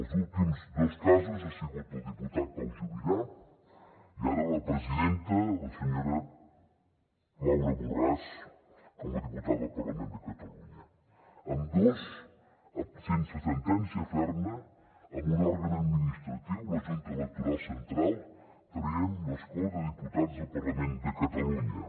els últims dos casos han sigut el diputat pau juvillà i ara la presidenta la senyora laura borràs com a diputada al parlament de catalunya ambdós sense sentència ferma amb un òrgan administratiu la junta electoral central traient l’escó de diputats del parlament de catalunya